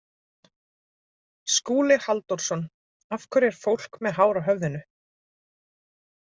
Skúli Halldórsson: Af hverju er fólk með hár á höfðinu?